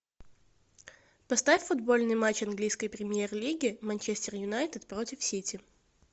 поставь футбольный матч английской премьер лиги манчестер юнайтед против сити